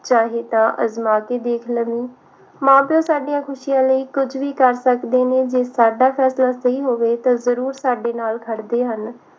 ਚਾਹੇ ਤਾਂ ਅਜਮਾ ਕੇ ਦੇਖ ਲਵੀ ਮਾਂ ਪਿਉ ਸਾਡੀਆਂ ਖੁਸ਼ੀਆਂ ਲਈ ਕੁਝ ਵੀ ਕਰ ਸਕਦੇ ਨੇ ਜੇ ਸਾਡਾ ਫੈਸਲਾ ਸਹੀ ਹੋਵੇ ਤਾਂ ਜਰੂਰ ਸਾਡੇ ਨਾਲ ਖੜਦੇ ਹਨ